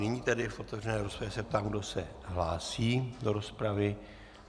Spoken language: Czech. Nyní tedy v otevřené rozpravě se ptám, kdo se hlásí do rozpravy.